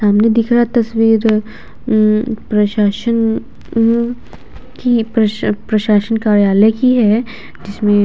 सामने दिख रहा तस्वीर अ अम प्रशासन हम्म की पस प्रशासन कार्यलाय की है जिसमें --